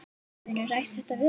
Hefurðu rætt þetta við hann?